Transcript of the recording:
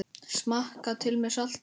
Smakkað til með salti.